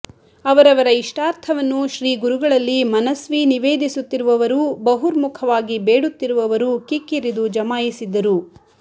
ಅವರವರ ಇಷ್ಟಾರ್ಥವನ್ನು ಶ್ರೀಗುರುಗಳಲ್ಲಿ ಮನಸ್ವೀ ನಿವೇದಿಸುತ್ತಿರುವವರೂ ಬಹುರ್ಮುಖವಾಗಿ ಬೇಡುತ್ತಿರುವವರೂ ಕಿಕ್ಕಿರಿದು ಜಮಾಯಿಸಿದ್ದರೂ